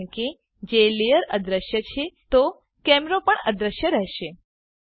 કારણ કે જો લેયર અદૃશ્ય છે તો કેમેરો પણ અદૃશ્ય રહશે